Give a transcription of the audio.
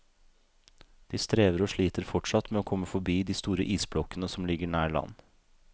De strever og sliter fortsatt med å komme forbi de store isblokkene som ligger nær land.